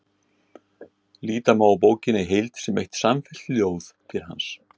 Líta má á bókina í heild sem eitt samfellt ljóð til hans.